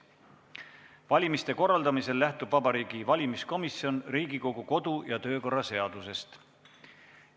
Valimiste korraldamisel lähtub Vabariigi Valimiskomisjon Riigikogu kodu- ja töökorra seadusest.